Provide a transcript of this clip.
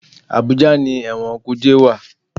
Àbújá ni ẹ̀wọ̀n kùjé wà.